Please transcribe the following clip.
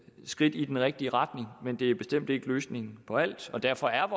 skridt i den rigtige retning men det er bestemt ikke løsningen på alt og derfor er